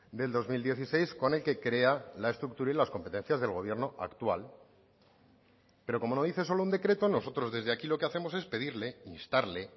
del dos mil dieciséis con el que crea la estructura y las competencias del gobierno actual pero como no dice solo un decreto nosotros desde aquí lo que hacemos es pedirle instarle